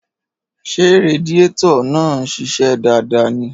Ṣé radiétọ̀ náà ń ṣiṣẹ́ dáadáa ni?